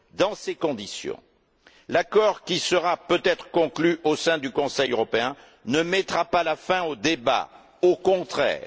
Dans ces conditions, l'accord qui sera peut être conclu au sein du Conseil européen ne mettra pas fin au débat, au contraire.